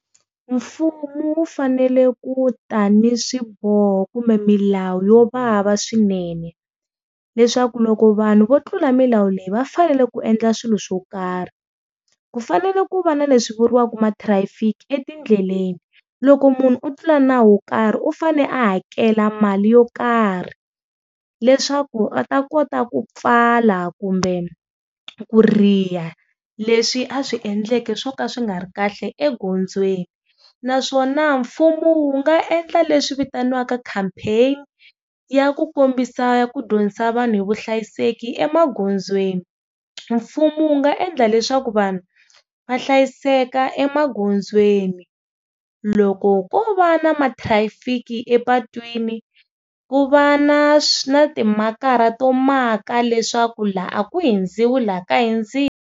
Mfumo wu fanele ku ta ni swiboho kumbe milawu yo vava swinene, leswaku loko vanhu vo tlula milawu leyi va fanele ku endla swilo swo karhi. Ku fanele ku va na leswi vuriwaka matrafiki etindleleni loko munhu wo tlula nawu wo karhi u fane a hakela mali yo karhi leswaku a ta kota ku pfala kumbe ku riha leswi a swi endleke swo ka swi nga ri kahle egondzweni. Naswona mfumo wu nga endla leswi vitaniwaka campaign-i ya ku kombisa ku dyondzisa vanhu hi vuhlayiseki emagondzweni. Mfumo wu nga endla leswaku vanhu va hlayiseka emagondzweni loko ko va na ma-trafic-i epatwini ku va na na timakara to maka leswaku laha a ku hundziwa laha ka hundziwa.